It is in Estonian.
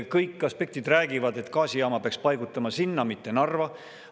Kõik aspektid räägivad, et gaasijaama peaks paigutama sinna, mitte Narva.